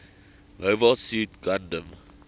mobile suit gundam